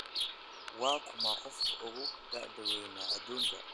waa kuma qofka ugu da'da wayn aduunka